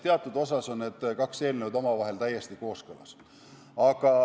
Teatud osas on need kaks eelnõu omavahel täiesti kooskõlas.